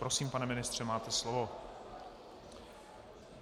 Prosím, pane ministře, máte slovo.